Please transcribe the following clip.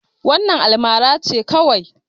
Wannan almara ce kawai.